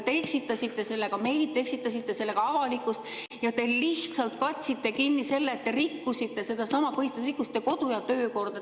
Te eksitasite sellega meid, te eksitasite sellega avalikkust ja te lihtsalt katsite kinni selle, et te rikkusite sedasama põhiseadust, te rikkusite kodu‑ ja töökorda.